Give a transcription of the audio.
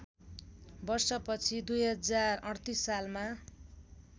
वर्षपछि २०३८ सालमा